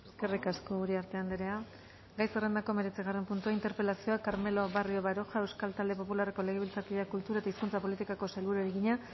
eskerrik asko uriarte andrea gai zerrendako hemeretzigarren puntua interpelazioa carmelo barrio baroja euskal talde popularreko legebiltzarkideak kultura eta hizkuntza politikako sailburuari egina